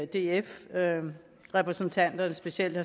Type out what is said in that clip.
df repræsentanterne specielt